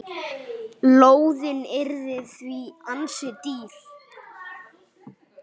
Lóðin yrði því ansi dýr.